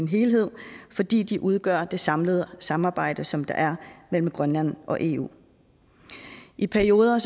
helhed fordi de udgør det samlede samarbejde som der er mellem grønland og eu i perioder